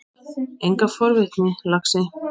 Enga forvitni, laxi.